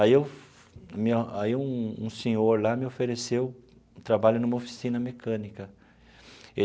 Aí eu aí um um senhor lá me ofereceu trabalho numa oficina mecânica.